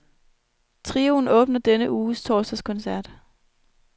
Trioen åbner denne uges torsdagskoncert.